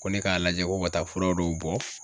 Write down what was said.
Ko ne k'a lajɛ ko ka taa fura dɔw bɔ.